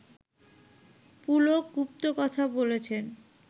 পুলক গুপ্ত কথা বলেছেন